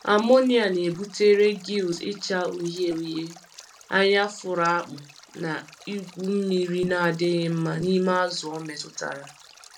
Amonia na-ebutere gills ịcha uhie uhie, anya fụrụ akpụ, na igwu mmiri na-adịghị mma n'ime azụ o metụtara.